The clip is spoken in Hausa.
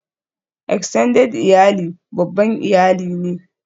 Extended iyali babban iyali ne